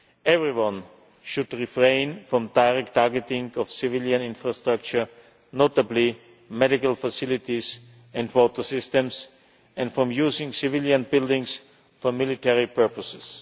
Everyone should refrain from direct targeting of civilian infrastructure, notably medical facilities and water systems, and from using civilian buildings for military purposes.